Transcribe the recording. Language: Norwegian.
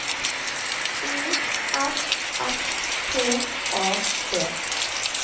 O F S T A D